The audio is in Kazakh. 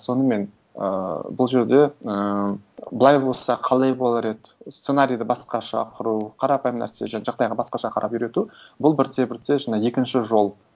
сонымен ыыы бұл жерде ііі былай болса қалай болар еді сценарийді басқаша құру қарапайым нәрсе жағдайға басқаша қарап үйрету бұл бірте бірте жаңа екінші жол